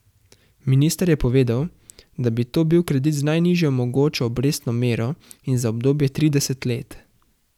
Minister je povedal, da bi to bil kredit z najnižjo mogočo obrestno mero in za obdobje trideset let.